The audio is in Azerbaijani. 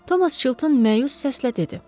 Thomas Chilton məyus səslə dedi: